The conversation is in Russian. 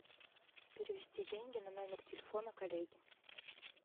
перевести деньги на номер телефона коллеги